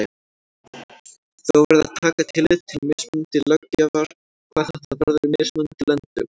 Þó verði að taka tillit til mismunandi löggjafar hvað þetta varðar í mismunandi löndum.